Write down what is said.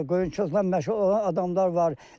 Qoyunçuluqla məşğul olan adamlar var.